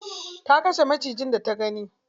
Ta kashe macijin da ta gani.